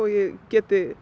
ég